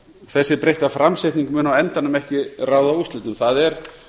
þessi breytta framsetning mun á endanum ekki ráða úrslitum það er